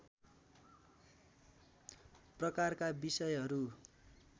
प्रकारका विषयहरू